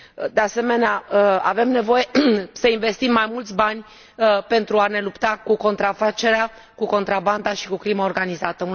De asemenea, avem nevoie să investim mai mulți bani pentru a ne lupta cu contrafacerea, cu contrabanda și cu crima organizată.